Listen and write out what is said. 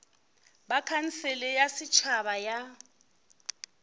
ba khansele ya setšhaba ya